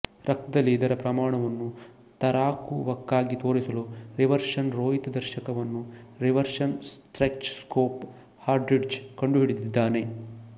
ರಕ್ತದಲ್ಲಿ ಇದರ ಪ್ರಮಾಣವನ್ನು ಕರಾರುವಾಕ್ಕಾಗಿ ತೋರಿಸಲು ರಿವರ್ಷನ್ ರೋಹಿತದರ್ಶಕವನ್ನು ರಿವರ್ಷನ್ ಸ್ಪೆಕ್ಚ್ರಸ್ಕೋಪ್ ಹಾರ್ಟ್ರಿಡ್ಜ್ ಕಂಡುಹಿಡಿದಿದ್ದಾನೆ